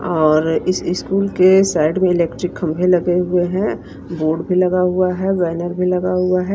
और इस स्कूल के साइड इलेक्ट्रिक खंभे लगे हुए हैं बोर्ड भी लगा हुआ है बैनर भी लगा हुआ है।